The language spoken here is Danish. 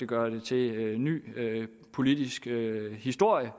gøre det til ny politisk historie